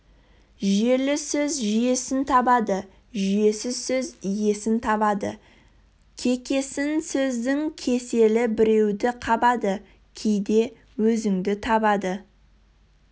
жүйелі сөз жүйесін табады жүйесіз сөз иесін табады кекесін сөздің кеселі біреуді қабады кейде өзіңді табады